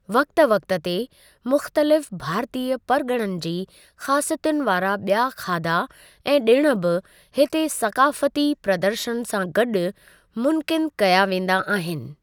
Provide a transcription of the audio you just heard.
वक़्ति वक़्ति ते, मुख़्तलिफ़ु भारतीय परिगि॒णनि जी ख़ासियतुनि वारा बि॒या खाधा ऐं डि॒णु बि हिते सक़ाफ़ती प्रदर्शनु सां गॾु मुनक़िदु कया वेंदा आहिनि।